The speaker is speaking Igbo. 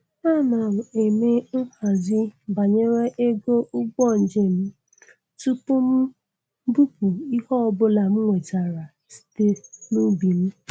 Ana m eme.nhazi banyere ego ụgbọ njem tupu m bupụ ihe ọbụla m nwetara site n'ubi m.